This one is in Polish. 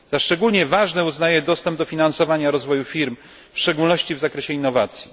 Za szczególnie ważne uznaję dostęp do finansowania rozwoju firm, w szczególności w zakresie innowacji.